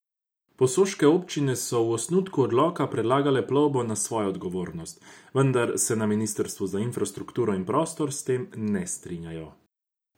Posoške občine so v osnutku odloka predlagale plovbo na svojo odgovornost, vendar se na ministrstvu za infrastrukturo in prostor s tem ne strinjajo.